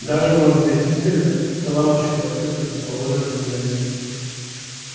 даже может я действительно лампочку отсыплют там положу на том же месте